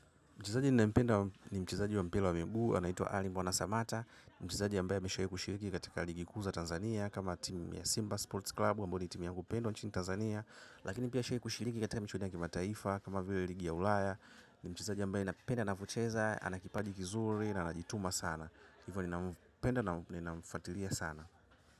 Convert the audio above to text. Mchezaji ninaipenda ni mchezaji wa mpila wa miguu, anaituwa Arling Bona Samata. Mchezaji ambaye mishai kushiriki kataka ligikuu za Tanzania, kama timu ya Simba Sports Club, ambaoni timu yangu pendwa nchini Tanzania. Lakini pia ashai kushiriki kataka mchudia kima taifa, kama vio yu ligi ya ulaya. Ni mchezaji ambaye napenda navocheza, anakipaji kizuri, na anajituma sana. Hivyo ninampenda na ninamfatilia sana.